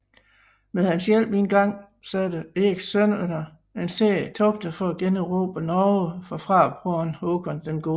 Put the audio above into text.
Med hans hjælp igangsatte Erikssønnerne en serie togter for at generobre Norge fra farbroren Håkon den Gode